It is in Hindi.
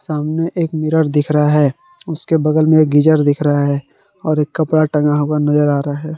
सामने एक मिरर दिख रहा है उसके बगल में गीजर दिख रहा है और एक कपड़ा टंगा हुआ नजर आ रहा है।